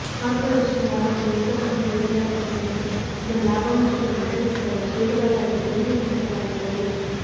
ಕಾರ್ಪೋರೇಷನ್ನ ಲಾಭವನ್ನು ನಿಗಮಕ್ಕೆ ನೀಡಲಾಗುತ್ತದೆ ಮತ್ತು ಅದನ್ನು ಲಾಭಾಂಶವನ್ನು ವಿತರಿಸಿದಾಗ ಷೇರುದಾರರಿಗೆ ತೆರಿಗೆ ವಿಧಿಸಲಾಗುತ್ತದೆ